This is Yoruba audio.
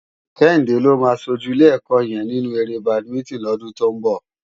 Kehinde ló má ṣójú ilé èkò yèn ninú éré bádimintin lòdún tó n bò